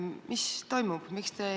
Mis ikkagi toimub?